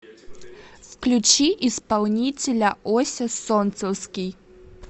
включи исполнителя ося солнцевский